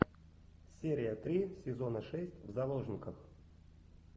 серия три сезона шесть в заложниках